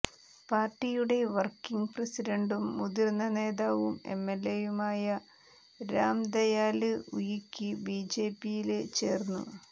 പാര്ട്ടിയുടെ വര്ക്കിംഗ് പ്രസിഡന്റും മുതിര്ന്ന നേതാവും എംഎല്എയുമായ രാം ദയാല് ഉയിക്ക് ബിജെപിയില് ചേര്ന്നു